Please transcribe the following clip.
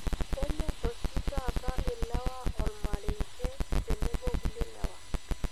Kenyorr oshi taata ilewa olmarenke tenebo kulie lewa.